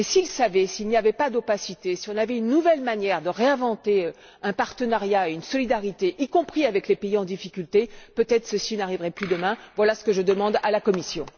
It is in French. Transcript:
Mais s'ils savaient, s'il n'y avait pas d'opacité, si on avait une nouvelle manière de réinventer un partenariat et une solidarité, y compris avec les pays en difficulté, peut être que ceci n'arriverait plus demain. Voilà ce que je demande à la Commission.